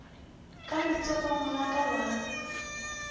ka letsogong la ka la